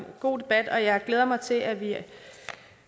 god debat og jeg glæder mig til at vi